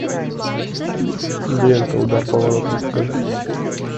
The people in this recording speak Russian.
лента удар по воротам покажи